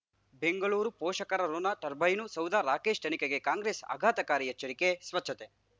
ಬೆಂಗಳೂರು ಪೋಷಕರಋಣ ಟರ್ಬೈನು ಸೌಧ ರಾಕೇಶ್ ತನಿಖೆಗೆ ಕಾಂಗ್ರೆಸ್ ಆಘಾತಕಾರಿ ಎಚ್ಚರಿಕೆ ಸ್ವಚ್ಛತೆ